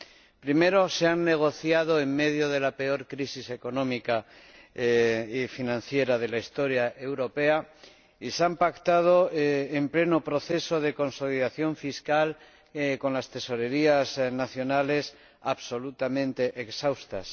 En primer lugar, se han negociado en medio de la peor crisis económica y financiera de la historia europea y se han pactado en pleno proceso de consolidación fiscal, con las tesorerías nacionales absolutamente exhaustas.